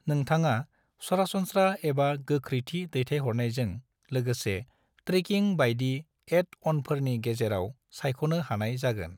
नोंथांआ सरासनस्रा एबा गोख्रैथि दैथाइहरनायजों लोगोसे ट्रेकिं बायदि एड-अनफोरनि गेजेराव सायख'नो हानाय जागोन।